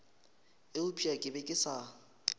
eupša ke be ke sa